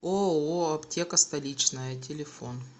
ооо аптека столичная телефон